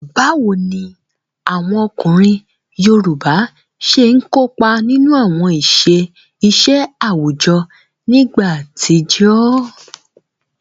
Báwo ni àwọn ọkùnrin yoòbá ṣe n kópa nínú àwọn iṣẹ́ àwùjọ nígbà àtijọ́?